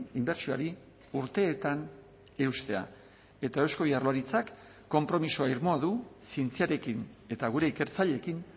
inbertsioari urteetan eustea eta eusko jaurlaritzak konpromiso irmoa du zientziarekin eta gure ikertzaileekin